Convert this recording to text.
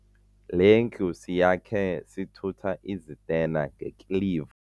Le ndlu siyakhe sithutha izitena ngekiliva.